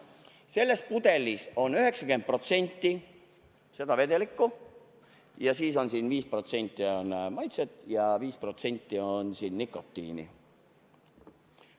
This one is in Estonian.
Selles pudelis on 90% seda vedelikku, siis on siin 5% maitset ja 5% nikotiini.